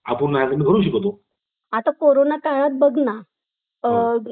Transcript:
कि भीती online meeting मदे कमी होते जो stress होतो त्याना जेव्हा समोर सामोरा meeting होते